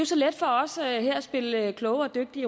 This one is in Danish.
så let for os her i europa at spille kloge og dygtige